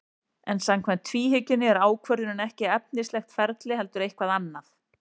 En samkvæmt tvíhyggjunni er ákvörðunin ekki efnislegt ferli heldur eitthvað annað.